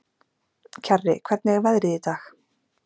Kjarri, hvernig er veðrið í dag?